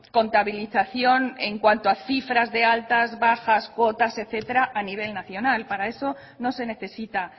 contabilización en cuanto a cifras de altas bajas cuotas etcétera a nivel nacional para eso no se necesita